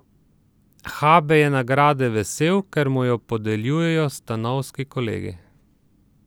Habe je nagrade vesel, ker mu jo podeljujejo stanovski kolegi.